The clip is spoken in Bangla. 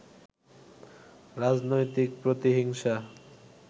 রাজনৈতিক প্রতিহিংসা